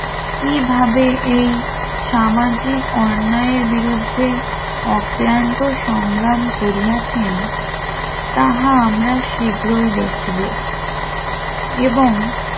কিভাবে এই সামাজিক অন্যায়ের বিরুদ্ধে অক্লান্ত সংগ্রাম করিয়াছেন তাহা আমরা শীঘ্রই দেখব এবং